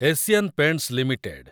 Asian paints limited